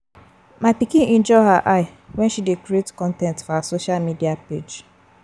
My pikin injure her eye wen she dey create con ten t for her social media page